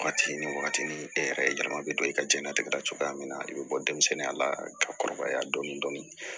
Wagati ni wagati ni e yɛrɛ yɛlɛma bɛ don i ka diɲɛlatigɛ la cogoya min na i bɛ bɔ denmisɛnninya la ka kɔrɔbaya dɔɔnin dɔɔnin